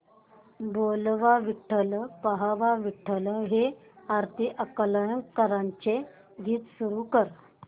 बोलावा विठ्ठल पहावा विठ्ठल हे आरती अंकलीकरांचे गीत सुरू कर